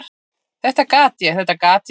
"""Þetta gat ég, þetta gat ég!"""